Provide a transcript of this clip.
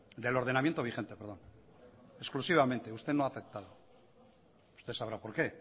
del ordenamiento vigente exclusivamente usted no ha aceptado usted sabrá por qué